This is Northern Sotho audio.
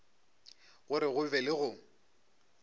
gore go be le go